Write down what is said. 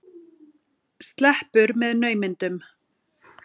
Sleppur með naumindum.